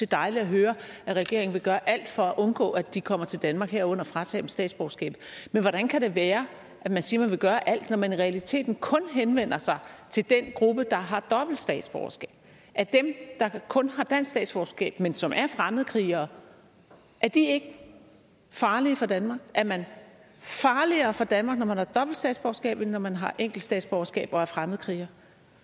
dejligt at høre at regeringen vil gøre alt for at undgå at de kommer til danmark herunder fratage dem statsborgerskabet men hvordan kan det være at man siger at man vil gøre alt når man i realiteten kun henvender sig til den gruppe der har dobbelt statsborgerskab er dem der kun har dansk statsborgerskab men som er fremmedkrigere ikke farlige for danmark er man farligere for danmark når man har dobbelt statsborgerskab end når man har et enkelt statsborgerskab og er fremmedkriger